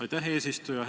Aitäh, eesistuja!